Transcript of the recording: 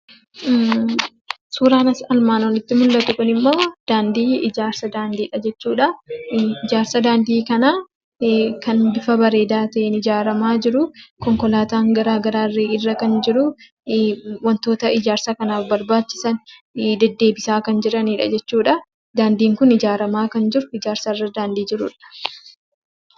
Suuraa armaan olitti mul'atu kun ammoo ijaarsa daandiidha jechuudha. Ijaarsi daandii kun kan bifa bareedaa ta'een ijaaramaa jiru. Konkolaataan garaa garaa illee kan irra jiru. Wantoota ijaarsa kanaaf barbaachisan deddeebisaa kan jiranidha jechuudha. Daandiin kun ijaaramaa kan jiru yookaan ijaarsa irra kan jiruudha.